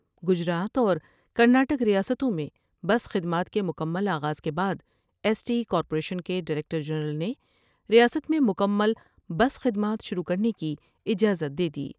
گجرات اور Karnataka ریاستوں میں بس خدمات کے مکمل آغاز کے بعد ایس ٹی کارپوریشن کے ڈائریکٹر جنرل نے ریاست میں مکمل بس خد مات شروع کر نے کی اجازت دے دی ۔